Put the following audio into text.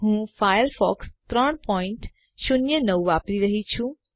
હું ફાયરફોક્સ 309 વાપરી રહ્યી છું